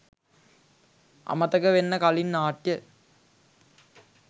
"අමතක වෙන්න කලින්" නාට්‍ය